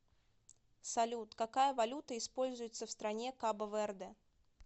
салют какая валюта используется в стране кабо верде